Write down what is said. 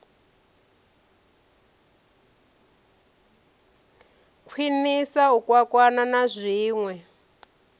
khwiniswa u kwakwana na zwinwe